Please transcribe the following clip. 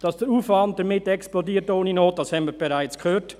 Dass der Aufwand damit ohne Not explodiert, haben wir bereits gehört.